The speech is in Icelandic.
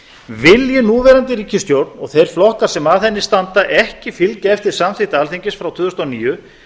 vilji núverandi ríkisstjórn og þeir flokkar sem að henni standa ekki fylgja eftir samþykkt alþingis frá tvö þúsund og níu